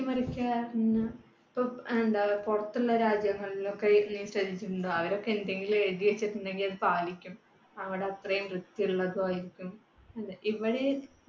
മാറ്റിമറിക്കയാന്ന് ഇപ്പൊ എന്താ പുറത്തുള്ള രാജ്യങ്ങളിലൊക്കെ നീ ശ്രദ്ധിച്ചിട്ടുണ്ടോ? അവരൊക്കെ എന്തെങ്കിലും എഴുതിവെച്ചിട്ടുണ്ടെങ്കിൽ അത് പാലിക്കും. അവടെ അത്രയും വൃത്തിയുള്ളതുമായിരിക്കും ഇവിടെ